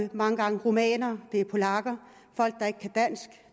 mange gange rumænere det er polakker folk der ikke kan dansk